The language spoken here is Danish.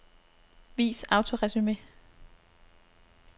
Vis autoresumé.